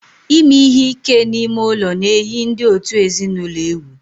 Ime ihe ike n'ime ụlọ na-eyi ndị òtù ezinụlọ egwu